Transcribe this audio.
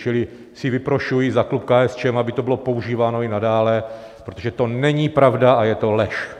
Čili si vyprošuji za klub KSČM, aby to bylo používáno i nadále, protože to není pravda a je to lež.